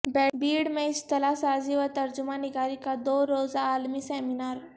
بیڑ میں اصطلاح سازی و ترجمہ نگاری کا دو روزہ عالمی سیمینار